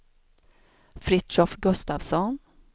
Fritiof Gustavsson